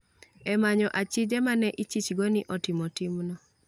e manyo achije ma ne ichichgo ni otimo timno.